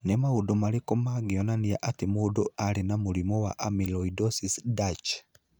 Nĩ maũndũ marĩkũ mangĩonania atĩ mũndũ arĩ na mũrimũ wa amyloidosis Dutch?